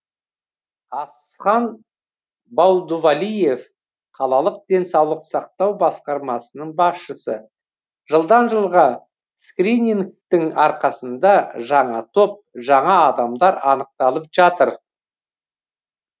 асхан байдувалиев қалалық денсаулық сақтау басқармасының басшысы жылдан жылға скринингтің арқасында жаңа топ жаңа адамдар анықталып жатыр